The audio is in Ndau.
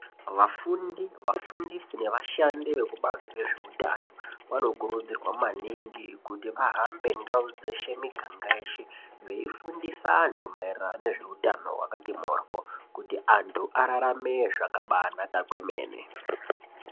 Vafundi vafundisi nevashandi vekubazi rezveutano vanokurudzirwa maningi kuti vahambe ndau dzeshe miganga yeshe vaifundisa antu mairirano ngezveutano wakati mohyo kuti antu ararame zvakanaka kwemene.